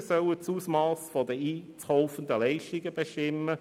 Drittens: Die Gemeinden sollen das Ausmass der einzukaufenden Leistungen bestimmen.